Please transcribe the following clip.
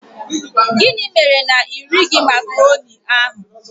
Gịnị mere na irighi macroni ahụ?